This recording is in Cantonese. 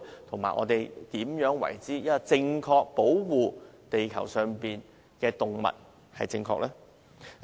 怎樣才可以正確地保護地球上的動物？